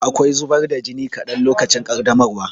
Akwai zubar da jini kaɗan lokacin ƙaddamarwa.